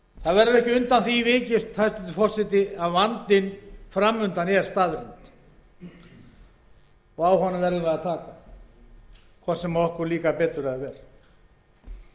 verður ekki undan því vikist að vandinn fram undan er staðreynd og á honum verðum við að taka hvort sem okkur líkar betur eða verr